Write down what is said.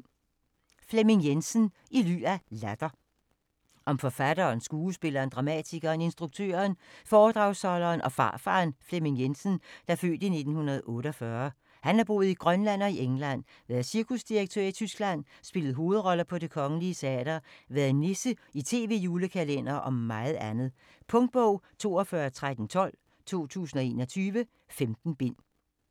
Jensen, Flemming: I ly af latter Om forfatteren, skuespilleren, dramatikeren, instruktøren, foredragsholderen og farfaren Flemming Jensen (f. 1948). Han har boet i Grønland og England, været cirkusdirektør i Tyskland, spillet hovedroller på Det Kongelige Teater, været nisse i tv-julekalendere - og meget andet. Punktbog 421312 2021. 15 bind.